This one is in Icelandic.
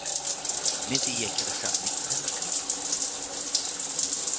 Myndi ég gera samning við þennan skríl?